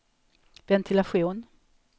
ventilation